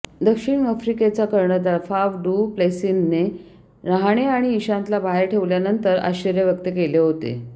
दक्षिण आफ्रिकेचा कर्णधार फाफ डू प्लेसिसने रहाणे आणि इशांतला बाहेर ठेवल्यानंतर आश्चर्य व्यक्त केले होते